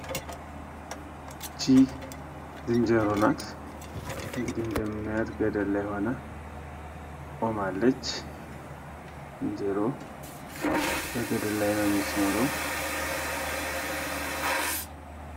ይች ዝንጀሮ ናት። እንግዲህ እንደምናያት ገደል ላይ ሁና ቁማለች። ዝንጀሮ በገደል ላይ ነው የምትኖረው።